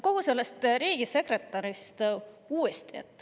Kogu sellest riigisekretäri teemast uuesti.